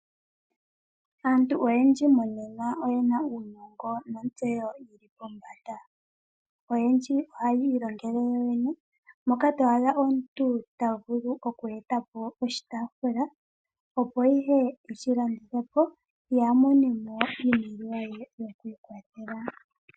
Aantu oyendji monena oyena uunongo nontseyo yili pombanda. Oyendji ohaya ilongele yoyene moka to adha omuntu ta vulu oku ndulukapo oshitaafula opo eshilandithe po ye a mone mo iimaliwa ye yokwiikwathela.